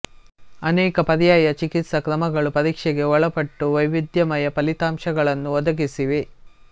ಅನೇಕ ಪರ್ಯಾಯ ಚಿಕಿತ್ಸಾ ಕ್ರಮಗಳು ಪರೀಕ್ಷೆಗೆ ಒಳಪಟ್ಟು ವೈವಿಧ್ಯಮಯ ಫಲಿತಾಂಶಗಳನ್ನು ಒದಗಿಸಿವೆ